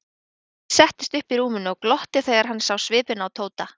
Örn settist upp í rúminu og glotti þegar hann sá svipinn á Tóta.